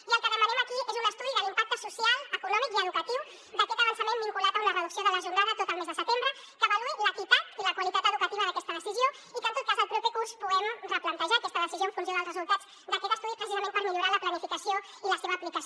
i el que demanem aquí és un estudi de l’impacte social econòmic i educatiu d’aquest avançament vinculat a una reducció de la jornada tot el mes de setembre que avaluï l’equitat i la qualitat educatives d’aquesta decisió i que en tot cas el proper curs puguem replantejar aquesta decisió en funció dels resultats d’aquest estudi precisament per millorar la planificació i la seva aplicació